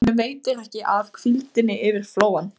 Honum veitir ekki af hvíldinni yfir flóann.